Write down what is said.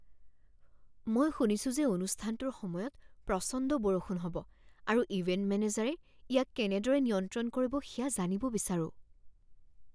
মই শুনিছোঁ যে অনুষ্ঠানটোৰ সময়ত প্ৰচণ্ড বৰষুণ হ'ব আৰু ইভেণ্ট মেনেজাৰে ইয়াক কেনেদৰে নিয়ন্ত্ৰণ কৰিব সেয়া জানিব বিচাৰো।